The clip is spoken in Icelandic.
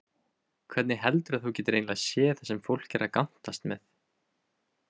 Hvernig heldurðu að þú getir eiginlega séð það sem fólk er að gantast með?